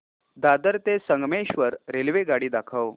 दादर ते संगमेश्वर रेल्वेगाडी दाखव